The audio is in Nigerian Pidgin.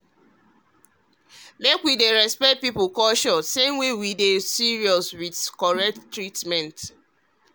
um make we dey respect people culture same way we dey serious with correct treatment.